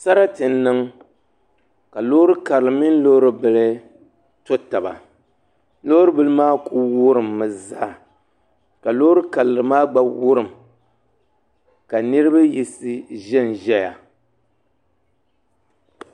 Sarati n niŋ ka loori karili mini loori bili to taba loori bili maa ku wurimmi zaa ka loori karili maa gba wurim ka niraba yiɣisi ʒɛnʒɛya